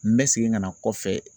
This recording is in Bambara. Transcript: N bɛ segin ka na kɔfɛ